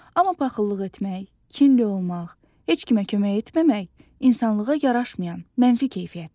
Amma paxıllıq etmək, kinli olmaq, heç kimə kömək etməmək insanlığa yaraşmayan mənfi keyfiyyətlərdir.